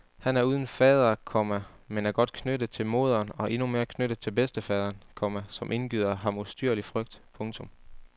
Han er uden fader, komma men er godt knyttet til moderen og endnu mere knyttet til bedstefaderen, komma som indgyder ham ustyrlig frygt. punktum